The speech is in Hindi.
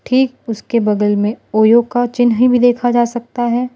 ठीक उसके बगल में ओयो का चिन्ह भी देखा जा सकता है।